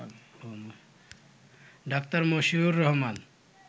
ড: মশিউর রহমান